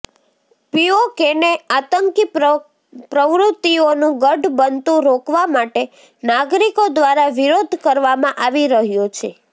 પીઓકેને આતંકી પ્રવૃત્તિઓનું ગઢ બનતું રોકવા માટે નાગરિકો દ્વારા વિરોધ કરવામાં આવી રહ્યો છે